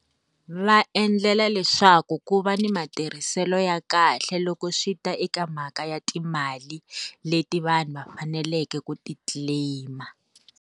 Va endlela leswaku ku va ni matirhiselo ya kahle loko swi ta eka mhaka ya timali, leti vanhu va faneleke ku ti-claim.